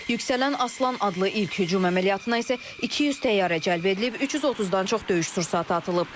Yüksələn Aslan adlı ilk hücum əməliyyatına isə 200 təyyarə cəlb edilib, 330-dan çox döyüş sursatı atılıb.